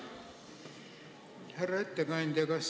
Härra ettekandja!